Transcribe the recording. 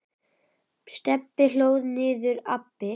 Stebbi hlóð niður nýju appi.